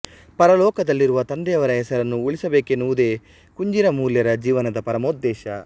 ಪರಲೋಕದಲ್ಲಿರುವ ತಂದೆಯವರ ಹೆಸರನ್ನು ಉಳಿಸಬೇಕೆನ್ನುವುದೇ ಕುಂಜಿರ ಮೂಲ್ಯರ ಜೀವನದ ಪರಮೋದ್ದೇಶ